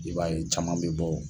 I b'a ye caman be bɔ